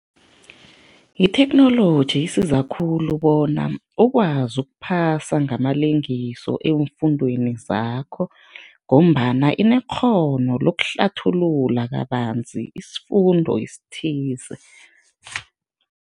Itheknoloji isiza khulu bona ukwazi ukuphasa ngamalengiso emfundweni zakho ngombana inekghono lokuhlathulula kabamanzi isifundo esithize.